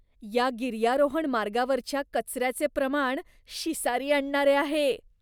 या गिर्यारोहण मार्गावरच्या कचऱ्याचे प्रमाण शिसारी आणणारे आहे.